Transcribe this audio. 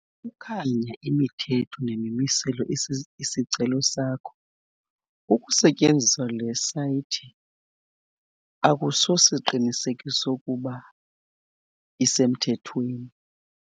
Xa ukukhanya imithetho nemimiselo isicelo sakho, ukusetyenziswa le sayithi akusosiqinisekiso sokuba yi esemthethweni.